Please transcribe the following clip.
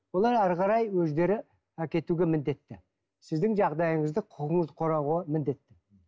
олар әрі қарай өздері әкетуге міндетті сіздің жағдайыңызды міндетті